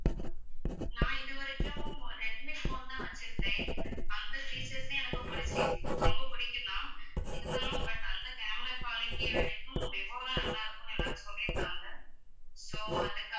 நான் இதுவரைக்கும் Redmi phone தான் வெச்சிருந்தேன் அந்த features ஏ எனக்கு புடிச்சு~ ரொம்ப பிடிக்கும் தான் இருந்தாலும் but அந்த camera quality விடக்கும் விவோ தான் நல்லாருக்கும்னு எல்லாரும் சொல்லிருக்காங்க so அதுக்காக